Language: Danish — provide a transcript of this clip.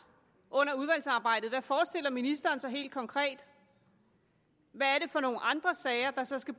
under udvalgsarbejdet hvad forestiller ministeren sig helt konkret hvad er det for nogle andre sager der så skal